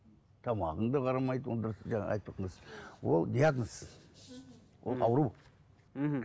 тамағыңды қарамайды онда ол диагноз ол ауру мхм